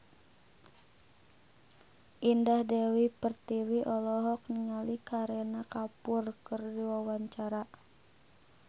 Indah Dewi Pertiwi olohok ningali Kareena Kapoor keur diwawancara